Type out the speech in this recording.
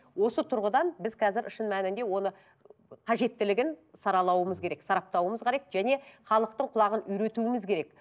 осы тұрғыдан біз қазір шын мәнінде оны қажеттілігін саралауымыз керек сараптауымыз керек және халықтың құлағын үйретуіміз керек